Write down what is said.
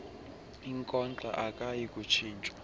inkonkxa akayi kutshintshwa